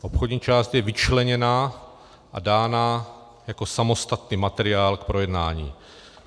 Obchodní část je vyčleněna a dána jako samostatný materiál k projednání.